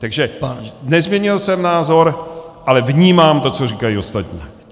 Takže nezměnil jsem názor, ale vnímám to, co říkají ostatní!